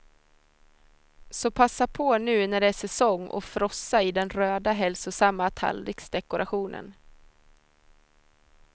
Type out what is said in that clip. Så passa på nu när det är säsong och frossa i den röda, hälsosamma tallriksdekorationen.